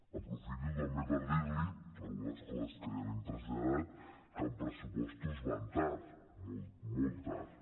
aprofito també per dir li algunes coses que ja li hem traslladat que en pressupostos van tard molt tard